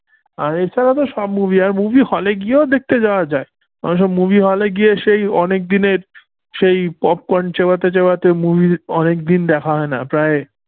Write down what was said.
আর এছাড়া তো সব movie আর movie hall হলে গিয়েও দেখতে যাওয়া যায় ওই সব movie hall এ গিয়ে সেই অনেক দিনের সেই popcorn চেবাতে চেবাতে movie অনেকদিন দেখা হয় না। প্রায়